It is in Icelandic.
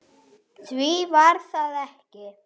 Því var það ekki